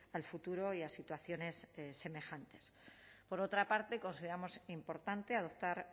al futuro y a situaciones semejantes por otra parte consideramos importante adoptar